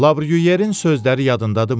Lavryuyerin sözləri yadındadımı?